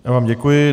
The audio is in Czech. Já vám děkuji.